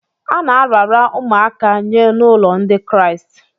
A na-arara ụmụaka nye n’ụlọ Ndị Kraịst.